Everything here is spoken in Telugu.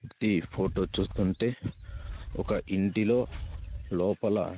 ఈ ఫొటో చూస్తుంటే ఒక ఇంటిలో లోపల--